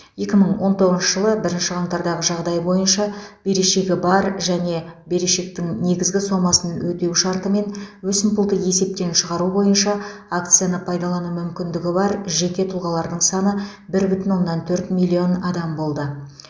екі мың он тоғызыншы жылы бірінші қаңтардағы жағдай бойынша берешегі бар және берешектің негізгі сомасын өтеу шартымен өсімпұлды есептен шығару бойынша акцияны пайдалану мүмкіндігі бар жеке тұлғалардың саны бір бүтін оннан төрт миллион адам болды